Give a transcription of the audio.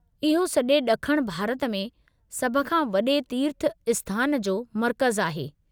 इहो सॼे ॾखण भारत में सभ खां वॾे तीर्थ आस्थान जो मर्कज़ु आहे।